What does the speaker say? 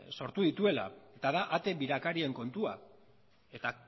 sortu dituela eta da ate birakarien kontua eta